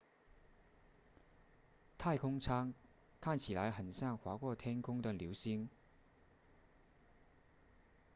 太空舱看起来很像划过天空的流星